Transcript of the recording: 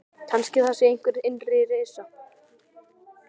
Kannski það sé einhver innri reisa.